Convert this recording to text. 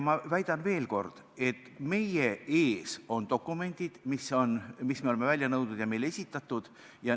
Ma väidan veel kord, et meie ees on dokumendid, mis me oleme välja nõudnud ja mis on meile esitatud.